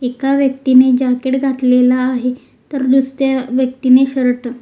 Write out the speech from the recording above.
एका व्यक्तीने जॅकेट घातलेला आहे तर दुसऱ्या व्यक्तीने शर्ट .